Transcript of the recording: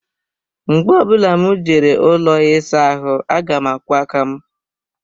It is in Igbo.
Mgbe ọ bụla m jere ụlọ ịsa ahụ aga m akwọ aka m